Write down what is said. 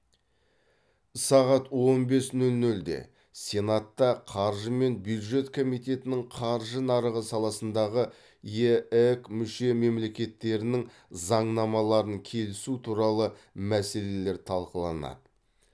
сағат он бес нөл нөлде сенатта қаржы және бюджет комитетінің қаржы нарығы саласындағы еэк мүше мемлекеттерінің заңнамаларын келісу туралы мәселелер талқыланады